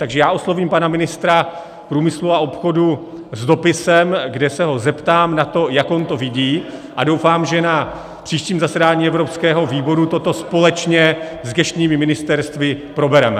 Takže já oslovím pana ministra průmyslu a obchodu s dopisem, kde se ho zeptám na to, jak on to vidí, a doufám, že na příštím zasedání evropského výboru toto společně s gesčními ministerstvy probereme.